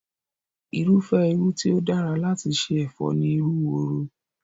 Irúfẹ́ irú tí ó dára láti ṣe ẹ̀fọ́ ni irú woro